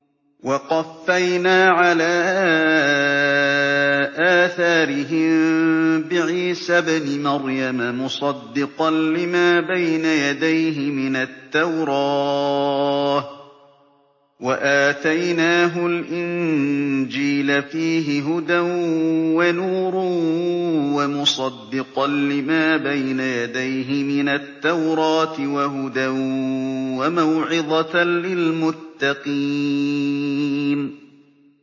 وَقَفَّيْنَا عَلَىٰ آثَارِهِم بِعِيسَى ابْنِ مَرْيَمَ مُصَدِّقًا لِّمَا بَيْنَ يَدَيْهِ مِنَ التَّوْرَاةِ ۖ وَآتَيْنَاهُ الْإِنجِيلَ فِيهِ هُدًى وَنُورٌ وَمُصَدِّقًا لِّمَا بَيْنَ يَدَيْهِ مِنَ التَّوْرَاةِ وَهُدًى وَمَوْعِظَةً لِّلْمُتَّقِينَ